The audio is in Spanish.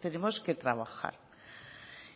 tenemos que trabajar